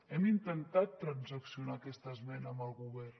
hem intentat transaccionar aquesta esmena amb el govern